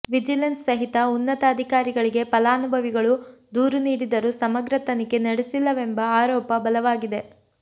vigilance ಸಹಿತ ಉನ್ನತ ಅಧಿಕಾರಿಗಳಿಗೆ ಫಲಾನುಭವಿಗಳು ದೂರು ನೀಡಿದರೂ ಸಮಗ್ರ ತನಿಖೆ ನಡೆಸಿಲ್ಲವೆಂಬ ಆರೋಪ ಬಲವಾಗಿದೆ